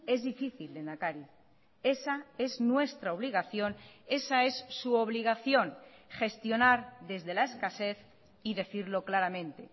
es difícil lehendakari esa es nuestra obligación esa es su obligación gestionar desde la escasez y decirlo claramente